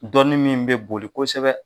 Dɔnni min bɛ boli kosɛbɛ